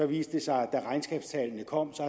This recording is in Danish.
viste det sig da regnskabstallene kom